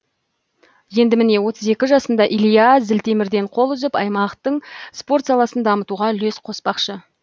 енді міне отыз екі жасында илья зілтемірден қол үзіп аймақтың спорт саласын дамытуға үлес қоспақшы